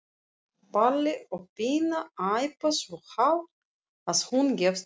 Palli og Pína æpa svo hátt að hún gefst upp.